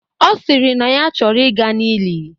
Ọ sịrị na ya chọrọ ị ga n'ili